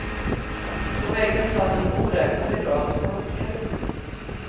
På väggen satt en oräknelig rad klockor.